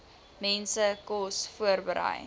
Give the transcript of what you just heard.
mense kos voorberei